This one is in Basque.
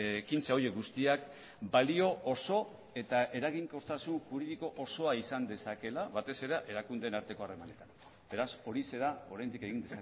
ekintza horiek guztiak balio oso eta eraginkortasun juridiko osoa izan dezakeela batez ere erakundeen arteko harremanetan beraz horixe da oraindik egin